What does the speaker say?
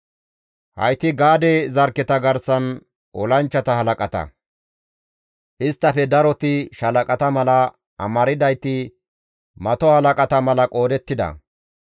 Hayti Gaade zarkketa garsan olanchchata halaqata; isttafe daroti shaalaqata mala, amardayti mato halaqata mala qoodettida.